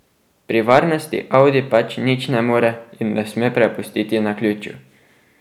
Pri varnosti Audi pač nič ne more in ne sme prepustiti naključju.